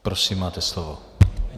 Prosím, máte slovo.